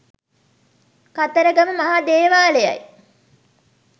කතරගම මහා දේවාලයයි.